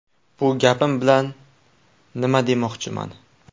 Bu gapim bilan nima demoqchiman.